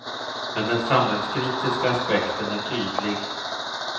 Men den samhällskritiska aspekten är tydlig.